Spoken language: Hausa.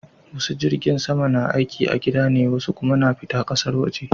Wasu jirgin sama na aiki a gida ne wasu kuma na fita ƙasar waje